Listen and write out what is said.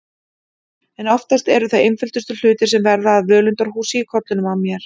En oftast eru það einföldustu hlutir sem verða að völundarhúsi í kollinum á mér.